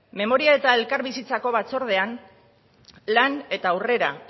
memoria eta elkarbizitzako batzordean lan eta aurrera